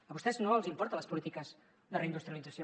a vostès no els importen les polítiques de reindustrialització